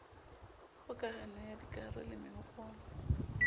kgokahano ya dikahare le mehopolo